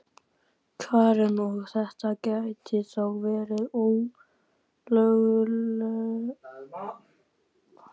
Karen: Og, þetta gæti þá verið ólögmætur samningur?